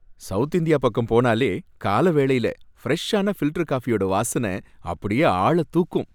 South India பக்கம் போனலே கால வேளையில ஃபிரெஷான ஃபில்டர் காபியோட வாசன அப்படியே ஆள தூக்கும்.